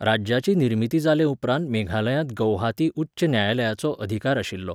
राज्याची निर्मिती जाले उपरांत मेघालयांत गौहाती उच्च न्यायालयाचो अधिकार आशिल्लो.